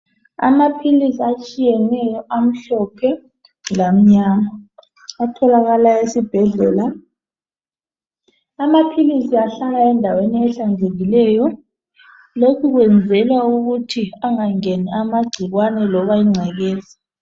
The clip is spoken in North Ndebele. Amaphilisi atshiyeneyo amhlophe lamnyama athokalala esibhedlela amaphilisi ahlala endaweni ehlanzekileyo lokhu kwenzela ukuthi angangeni amagcikwane loba igcekeza.